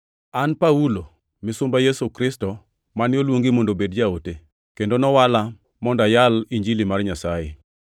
An Paulo, misumba Yesu Kristo, mane oluongi mondo obed jaote, kendo nowala mondo ayal Injili mar Nyasaye.